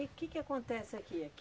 que que que acontece aqui?